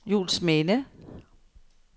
Juelsminde